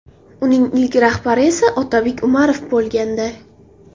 Uning ilk rahbari esa Otabek Umarov bo‘lgandi.